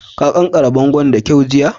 Ka ƙanƙare bongon' da kyau jiya?